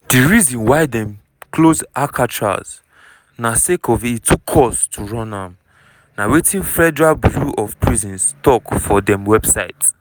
di reason why dem close alcatraz na sake of e too cost to run am na wetin federal bureau of prisons tok for dem website.